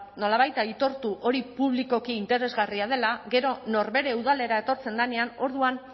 nolabait aitortu hori publikoki interesgarria dela gero norbere udalera etortzen denean orduan